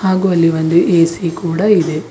ಹಾಗು ಅಲ್ಲಿ ಒಂದು ಎ_ಸಿ ಕೂಡ ಇದೆ.